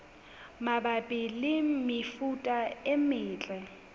mabapi le mefuta e metle